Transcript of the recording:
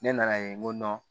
Ne nana ye n ko